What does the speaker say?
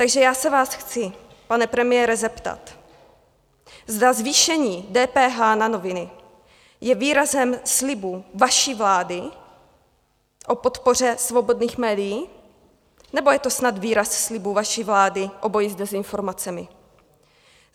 Takže já se vás chci, pane premiére, zeptat, zda zvýšení DPH na noviny je výrazem slibu vaší vlády o podpoře svobodných médií, nebo je to snad výraz slibu vaší vlády o boji s dezinformacemi?